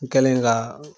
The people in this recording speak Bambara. N kɛlen ka